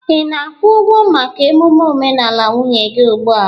Ị na-akwụ ụgwọ maka emume omenala nwunye gị ugbu a?